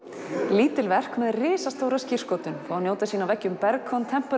lítil verk með risastóra skírskotun fá að njóta sín á veggjum Berg